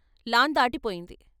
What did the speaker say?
Lawn దాటిపోయింది.